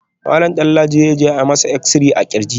Malam Danladi zai je a yi masa exi-ray a kirji